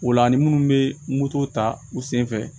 O la ani minnu bɛ moto ta u sen fɛ